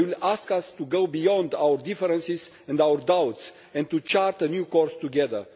They will ask us to go beyond our differences and our doubts and to chart a new course together.